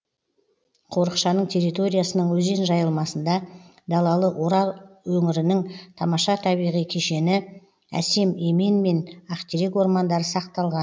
қорықшаның территориясының өзен жайылмасында далалы орал өңірінің тамаша табиғи кешені әсем емен мен ақтерек ормандары сақталған